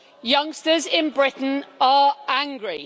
Youngsters in Britain are angry.